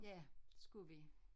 Ja det skulle vi